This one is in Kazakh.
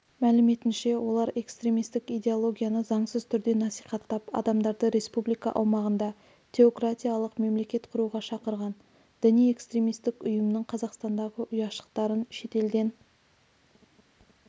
мәліметінше олар экстремистік идеологияны заңсыз түрде насихаттап адамдарды республика аумағында теократиялық мемлекет құруға шақырған діни-экстремистік ұйымның қазақстандағы ұяшықтарын шетелден